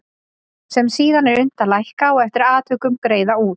sem síðan er unnt að lækka og eftir atvikum greiða út.